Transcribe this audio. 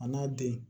A n'a den